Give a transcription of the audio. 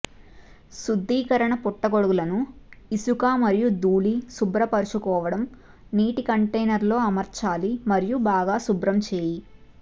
శుద్దీకరణ పుట్టగొడుగులను ఇసుక మరియు ధూళి శుభ్రపరచుకోవటం నీటి కంటైనర్ లో అమర్చాలి మరియు బాగా శుభ్రం చేయు